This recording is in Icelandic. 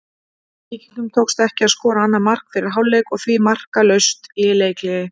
Víkingum tókst ekki að skora annað mark fyrir hálfleik og því markalaust í leikhléi.